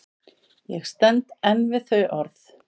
Ég stend enn við þau orð.